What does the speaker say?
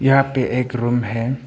यहां पे एक रूम है।